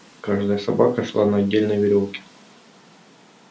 каждая собака шла на отдельной верёвке